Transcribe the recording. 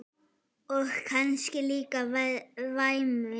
Og kannski líka væmið.